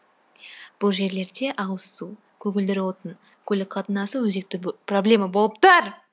бұл жерлерде ауыз су көгілдір отын көлік қатынасы өзекті проблема болып тұр